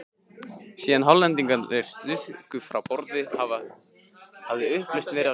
Síðan Hollendingarnir stukku frá borði, hafði upplausn verið á skipinu.